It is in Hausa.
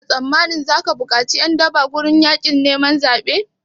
Kana tsammani zaka bukaci ƴan daba zuwa gurin yaƙin neman zaɓe?